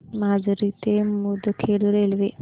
माजरी ते मुदखेड रेल्वे